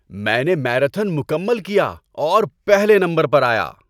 میں نے میراتھن مکمل کیا اور پہلے نمبر پر آیا۔